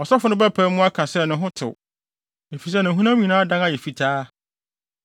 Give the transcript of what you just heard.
ɔsɔfo no bɛpae mu aka se ne ho tew, efisɛ ne honam nyinaa adan ayɛ fitaa.